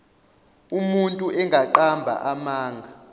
umuntu engaqamba amanga